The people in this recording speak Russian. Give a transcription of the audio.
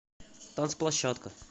танцплощадка